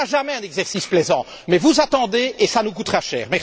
Ça ne sera jamais un exercice plaisant, mais vous attendez et ça nous coûtera cher.